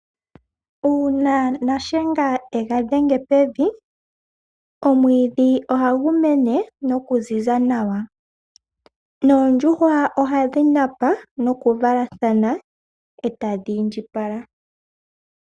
Uuna Shiyenga e ga dhenge pevi, omwiidhi ohagu mene nokuziza nawa, noondjuhwa ohadhi napa nokuvalathana e tadhi indjipala.